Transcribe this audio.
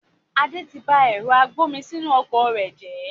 Adé tí bá ẹ̀rọ agbomisinu ọkọ̀ rẹ jẹ